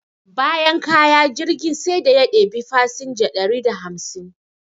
Bayan kaya, jirgin sai da ya ɗebi fasinja dari da hamsin.